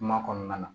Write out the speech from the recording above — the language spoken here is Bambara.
Kuma kɔnɔna na